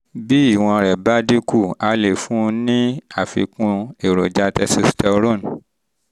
bí ìwọ̀n rẹ bá dín kù a lè fún ọ ní àfikún èròjà testosterone